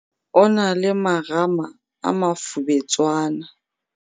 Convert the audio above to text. o na le marama a mafubetswana